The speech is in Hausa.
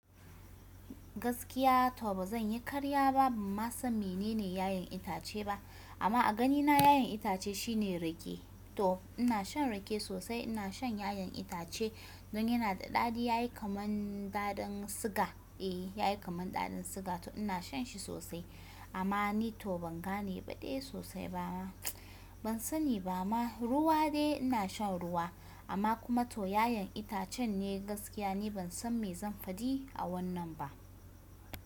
Gaskiya to ba zan yi karya ba, ba ma san menene ya''yan itace ba. Amma a ganina yayan itace shine rake. To ina shan rake sosai, ina shan ya''yan itace don yana da daɗi ai kaman daɗin siga. Eh yayi kaman daɗin siga to ina shan shi sosai. Amma ni to ban gane badai sosai ba. Ban sani ba ma, ruwa dai ina shan ruwa. Amma kuma to ya''yan itacen ne gaskiya ni ban san me zan faɗi a wannan ba.